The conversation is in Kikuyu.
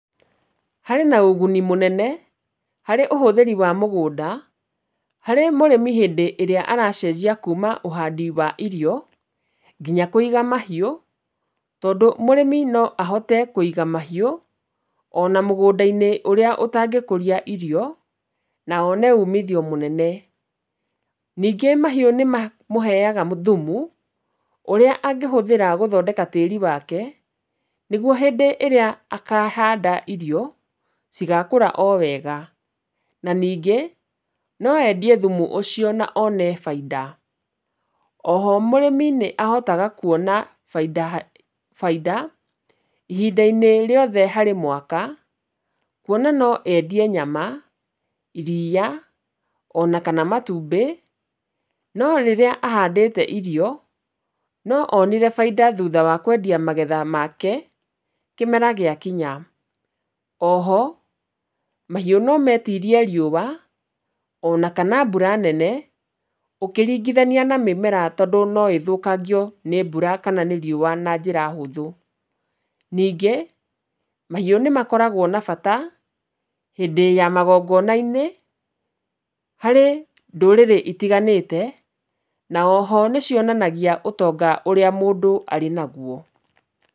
Harĩ na ũguni mũnene harĩ ũhũthĩri wa mũgũnda, harĩ mũrĩmi hĩndĩ ĩrĩa aracenjia kuma ũhandi wa irio nginya kũiga mahiũ, tondũ mũrĩmi no ahote kũiga mahiũ ona mũgũnda-inĩ ũrĩa ũtangĩkũria irio na one umithio mũnene. Ningĩ mahiũ nĩmamũheaga thumu ũrĩa angĩhũthĩra gũthondeka tĩri wake, nĩguo hĩndĩ ĩrĩa kahanda irio cigakũra o wega na ningĩ no endie thumu ũcio na one bainda. O ho mũrĩmi nĩ ahotaga kuona bainda, bainda ihinda-inĩ rĩothe harĩ mwaka, kuona no endie nyama, iria ona kana matumbĩ, no rĩrĩa ahandĩte irio no onire bainda thutha wa kũgetha magetha make kĩmera gĩakinya. O ho mahiũ no metirie riũa ona kana mbura nene ũkĩringithania na mĩmera tondũ no ĩthũkangio nĩ mbura kana nĩ riũa na njĩra hũthũ. Ningĩ, mahiũ nĩ makoragwo na bata hĩndĩ ya magongona-inĩ harĩ ndũrĩrĩ itiganĩte, na oho nĩ cionanagia ũtonga ũrĩa mũndũ arĩ naguo.